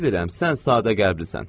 Bilirəm, sən sadə qəlblisən.